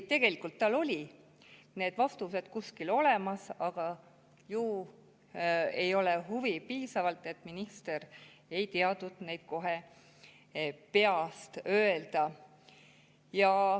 Tegelikult olid tal vastused kuskil olemas, aga ju ei olnud piisavalt huvi, sest minister ei kohe peast öelda.